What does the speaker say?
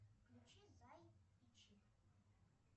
включи зай и чик